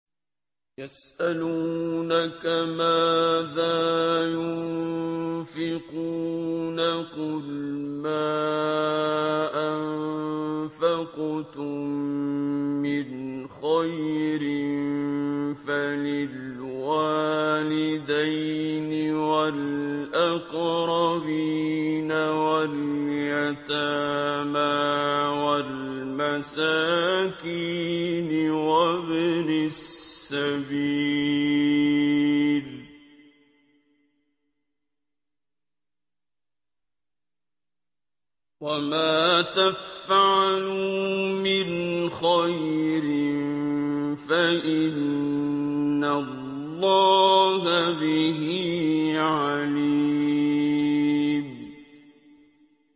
يَسْأَلُونَكَ مَاذَا يُنفِقُونَ ۖ قُلْ مَا أَنفَقْتُم مِّنْ خَيْرٍ فَلِلْوَالِدَيْنِ وَالْأَقْرَبِينَ وَالْيَتَامَىٰ وَالْمَسَاكِينِ وَابْنِ السَّبِيلِ ۗ وَمَا تَفْعَلُوا مِنْ خَيْرٍ فَإِنَّ اللَّهَ بِهِ عَلِيمٌ